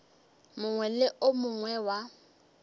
mongwe le o mongwe wa